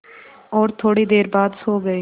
और थोड़ी देर बाद सो गए